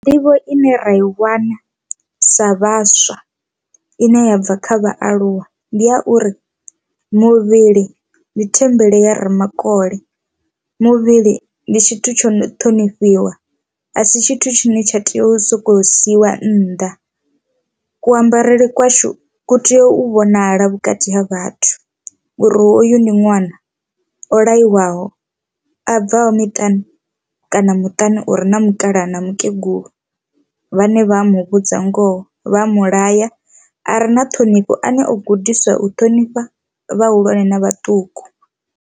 Nḓivho ine ra i wana sa vhaswa ine ya bva kha vhaaluwa ndi ya uri muvhili ndi thembele ya ramakole, muvhili ndi tshithu tsho no thonifhiwa asi tshithu tshine tsha tea u sokou siiwa nnḓa. Kuambarele kwashu ku tea u vhonala vhukati ha vhathu uri hoyu ndi ṅwana o laiwaho a bvaho miṱani kana muṱani o uri na mukalaha na mukegulu vhane vha mu vhudza ngoho vha mulaya are na ṱhonifho ane o gudiswa u ṱhonifha vhahulwane na vhaṱuku.